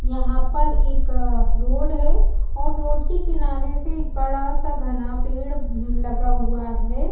यहाँ पर एक रोड है और रोड के किनारे से एक बड़ा -सा घना पेड़ अम लगा हुआ हैं ।